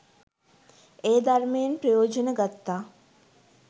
ඒ ධර්මයෙන් ප්‍රයෝජන ගත්තා.